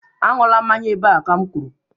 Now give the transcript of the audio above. Aṅụla mmanya ebe a ka m kwuru